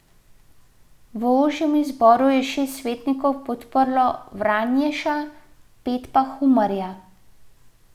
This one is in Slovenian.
V ožjem izboru je šest svetnikov podprlo Vranješa, pet pa Humarja.